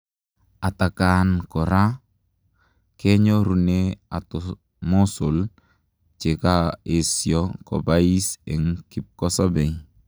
Atakaan koraa kenyorunee atomosol chekaesio kopais eng kipkosobei.